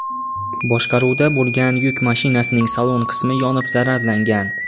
boshqaruvida bo‘lgan yuk mashinasining salon qismi yonib zararlangan.